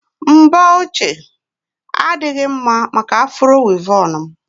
mbọ ochie a adịghị mma maka afro wịvọn m